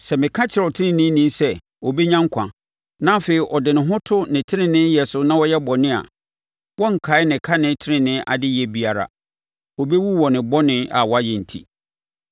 Sɛ meka kyerɛ ɔteneneeni sɛ ɔbɛnya nkwa, na afei ɔde ne ho to ne teneneeyɛ so na ɔyɛ bɔne a, wɔrenkae ne kane tenenee adeyɛ biara. Ɔbɛwu wɔ ne bɔne a wayɛ enti.